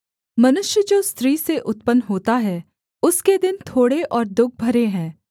मनुष्य जो स्त्री से उत्पन्न होता है उसके दिन थोड़े और दुःख भरे है